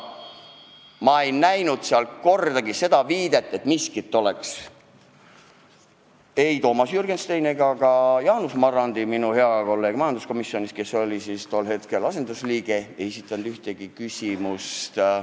Aga Toomas Jürgenstein ega ka Jaanus Marrandi, minu hea kolleeg majanduskomisjonis, kes oli tol istungil asendusliige, ei esitanud ühtegi küsimust.